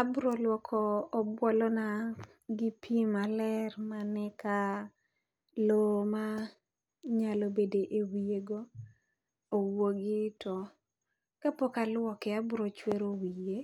Abro luoko obuolo na gi pi maler mane ka lo manyalo bede e wiye go owuogi. To kapok alwoke, abiro chwero wiye,